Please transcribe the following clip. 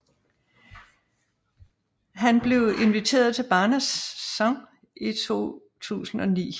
Han blev inviteret til Barnasants i 2009